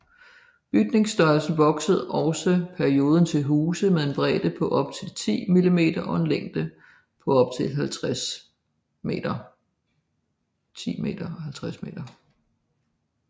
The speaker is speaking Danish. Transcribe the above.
Bygningsstørrelsen voksede også perioden til huse med en bredde på op til 10m og en længde på op til 50m